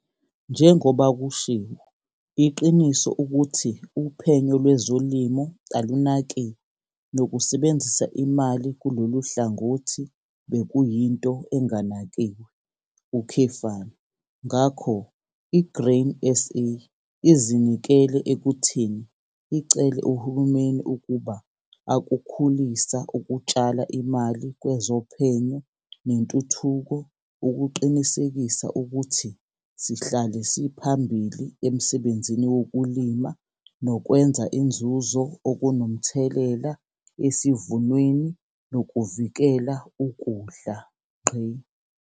Njengoba kushiwo iqiniso ukuthi uphenyo lwezolimo alunakiwe nokusebenzisa imali kulolu hlangothi bekuyinto enganakiwe, ngakho i-Grain SA izinikele ekutheni icele uhulumeni ukuba akukhulisa ukutshala imali kwezophenyo nentuthuko ukuqinisekisa ukuthi sihlale siphambili emsebenzini wokulima nokwenza inzuzo okunomthelela esivunweni nokuvikela ukudla.